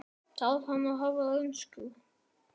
Þarf hann að hafa reynslu?